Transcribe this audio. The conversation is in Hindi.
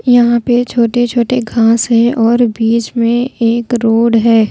यहां पे छोटे छोटे घास है और बीच में एक रोड है।